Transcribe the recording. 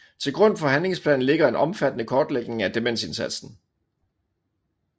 Til grund for handlingsplanen ligger en omfattende kortlægning af demensindsatsen